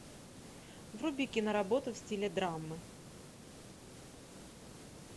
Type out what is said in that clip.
вруби киноработу в стиле драмы